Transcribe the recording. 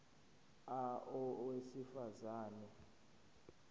a owesifaz ane